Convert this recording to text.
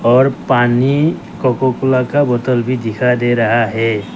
और पानी Coca Cola का बोतल भी दिखाई दे रहा है।